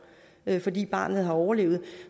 fordi barnet har overlevet